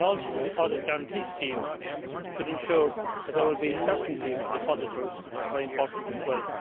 The deposit guarantee scheme should also ensure that there will be certainty for depositors, which is very important as well.